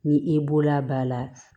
Ni i bolola b'a la